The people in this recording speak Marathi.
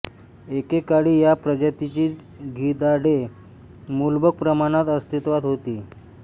एके काळी या प्रजातीची गिधाडे मुबलक प्रमाणात अस्तित्वात होती